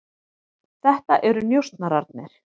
Þetta eru njósnararnir.